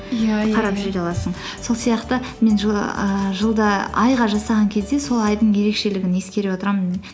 иә аласың сол сияқты мен ііі жылда айға жасаған кезде сол айдың ерекшелігін ескере отырамын